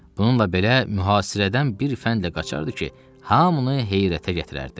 Bununla belə, mühasirədən bir fəndlə qaçardı ki, hamını heyrətə gətirərdi.